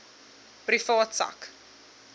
private sak